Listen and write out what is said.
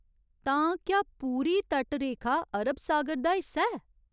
तां, क्या पूरी तटरेखा अरब सागर दा हिस्सा ऐ?